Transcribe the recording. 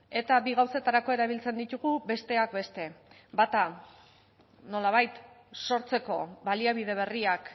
eta bi gauzetarako erabiltzen ditugu besteak beste bata nolabait sortzeko baliabide berriak